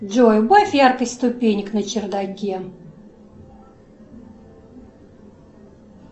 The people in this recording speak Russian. джой убавь яркость ступенек на чердаке